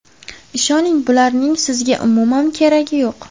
Ishoning, bularning sizga umuman keragi yo‘q.